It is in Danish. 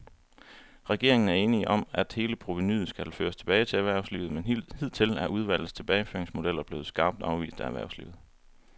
Regeringen er enig om, at hele provenuet skal føres tilbage til erhvervslivet, men hidtil er udvalgets tilbageføringsmodeller blevet skarpt afvist af erhvervslivet.